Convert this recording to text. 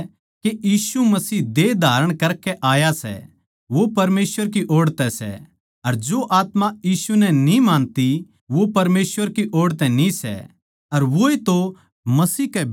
अर जो आत्मा यीशु नै न्ही मानती वो परमेसवर की ओड़ तै न्ही सै अर वोए तो मसीह कै बिरोधी की आत्मा सै जिसका जिक्रा थमनै सुण्या सै के वो आण आळा सै अर इब भी दुनिया म्ह सै